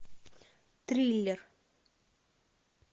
триллер